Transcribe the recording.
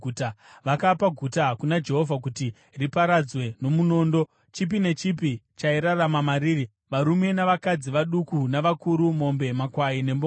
Vakapa guta kuna Jehovha kuti riparadzwe nomunondo, chipi nechipi chairarama mariri, varume navakadzi, vaduku navakuru, mombe, makwai nembongoro.